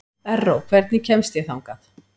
Erró, hvernig kemst ég þangað?